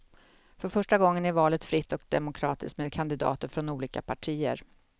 För första gången är valet fritt och demokratiskt, med kandidater från olika partier.